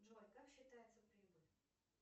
джой как считается прибыль